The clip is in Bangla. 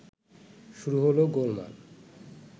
শুরু হলো গোলমাল